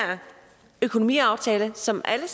økonomiaftale som alle